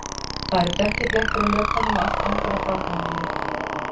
Það eru dökkir blettir á lökunum og allt angar af barnaolíu